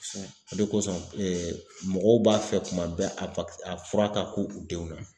o de kosɔn mɔgɔw b'a fɛ kuma bɛɛ a a fura ka k'u denw na